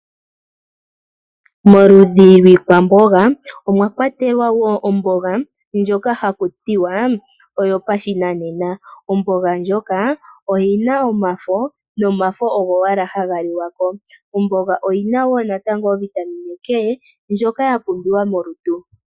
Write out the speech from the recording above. Moludhi lwiikwamboga omwakwatelwa woo omboga ndjoka hakutiwa oyo pashinanena. Omboga ndjoka oyina omafo, nomafo ogo owala haga liwa ko. Omboga oyina woo natango ovitamine K ndjoka ya pumbiwa molutu.